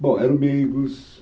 Bom, eram meigos.